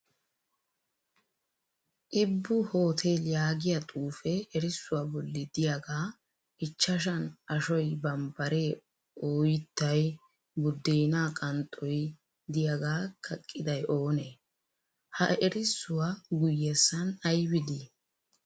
"Ibbu hotel" yaagiya xuufee erissuwaa bolli diyaagaa achchan ashoy bambbare ooyittay buddeenaa qanxxoyi diyaagaa kaqqiday oonee? Ha erissuwaa guyyessan ayibi dii?